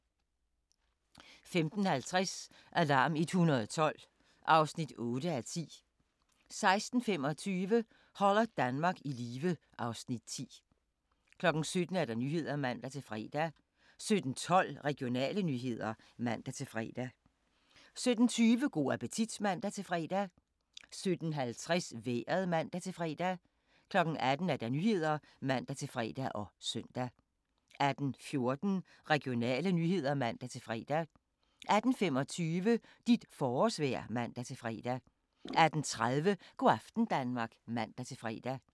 15:50: Alarm 112 (8:10) 16:25: Holder Danmark i live (Afs. 10) 17:00: Nyhederne (man-fre) 17:12: Regionale nyheder (man-fre) 17:20: Go' appetit (man-fre) 17:50: Vejret (man-fre) 18:00: Nyhederne (man-fre og søn) 18:14: Regionale nyheder (man-fre) 18:25: Dit forårsvejr (man-fre) 18:30: Go' aften Danmark (man-fre)